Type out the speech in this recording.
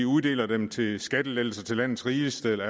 uddeler dem til skattelettelser til landets rigeste eller